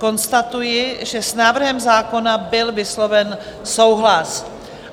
Konstatuji, že s návrhem zákona byl vysloven souhlas.